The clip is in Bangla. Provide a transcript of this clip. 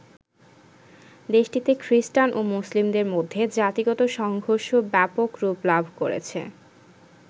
দেশটিতে খ্রিষ্টান ও মুসলিমদের মধ্যে জাতিগত সংঘর্ষ ব্যাপক রূপ লাভ করেছে।